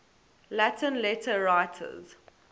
latin letter writers